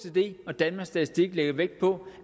og danmarks statistik lægger vægt på